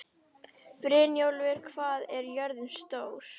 Brynjólfur, hvað er jörðin stór?